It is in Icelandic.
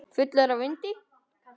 Fullur af vindi.